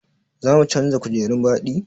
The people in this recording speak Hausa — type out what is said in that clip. Za mu canza kujerun baɗi?